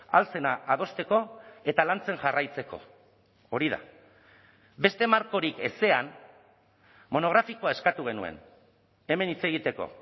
ahal zena adosteko eta lantzen jarraitzeko hori da beste markorik ezean monografikoa eskatu genuen hemen hitz egiteko